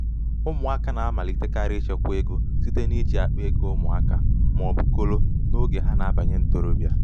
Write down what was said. ụmụaka na-amalitekarị ịchekwa ego site n’iji akpa ego ụmụaka ma ọ bụ kolo n’oge ha na-abanye ntorobịa.